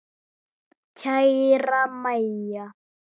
Kæra Mæja.